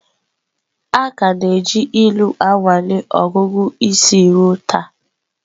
A ka na-eji ilu anwale ọgụgụ isi ruo taa.